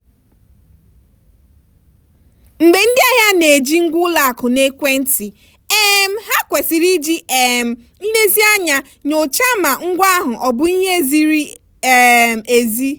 mgbe ndị ahịa na-eji ngwa ụlọakụ na ekwentị um ha ha kwesịrị iji um nlezianya nyochaa ma ngwa ahụ ọbụ ihe ziri um ezi.